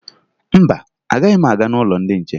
Mba, anaghị m aga n'ụlọ ndị nche